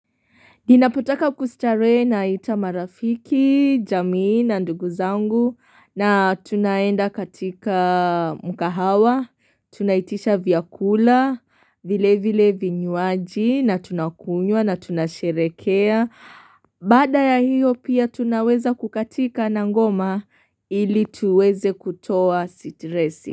Ninapotaka kustarehe naita marafiki, jamii na nduguzangu na tunaenda katika mkahawa, tunaitisha vyakula, vile vile vinywaji na tunakunywa na tunasherekea. Baada ya hiyo pia tunaweza kukatika na ngoma ili tuweze kutoa sitresi.